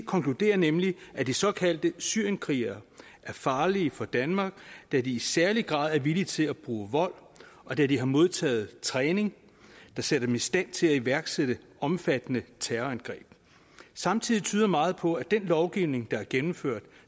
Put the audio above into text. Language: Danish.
konkluderer nemlig at de såkaldte syrienskrigere er farlige for danmark da de i særlig grad er villige til at bruge vold og da de har modtaget træning der sætter dem i stand til at iværksætte omfattende terrorangreb samtidig tyder meget på at den lovgivning der er gennemført